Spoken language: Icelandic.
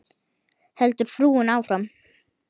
heldur frúin áfram.